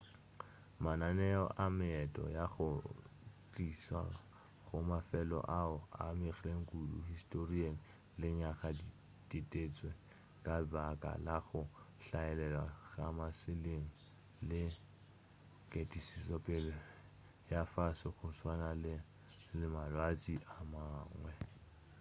mananeo a meento ya go tlišwa go mafelo oa a amegilego kudu historing lenyaga di ditetšwe ka baka la go hlaelela ga mašeleng le ketišopele ya fase go tswalana le malwetši a mangwe